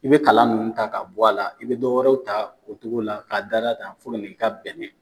I be kala nunnu ta ka bɔ a la , i be dɔ wɛrɛw ta o cogo la ka da da tan fo ka n'i ta bɛɛ kɛ.